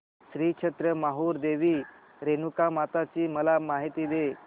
श्री क्षेत्र माहूर देवी रेणुकामाता ची मला माहिती दे